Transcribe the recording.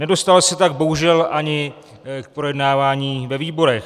Nedostalo se tak bohužel ani k projednávání ve výborech.